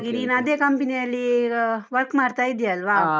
ನೀನು ಅದೇ company ಯಲ್ಲಿ, work ಮಾಡ್ತಾ ಇದ್ದೀ ಅಲ್ವಾ?